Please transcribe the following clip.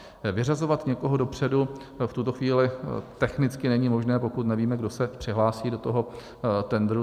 Vyřazovat někoho dopředu v tuto chvíli technicky není možné, pokud nevíme, kdo se přihlásí do toho tendru.